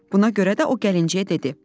Buna görə də o gəlinciyə dedi: